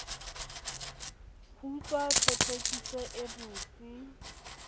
ho tswa thothokisong e botsi